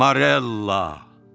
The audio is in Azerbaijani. Morella.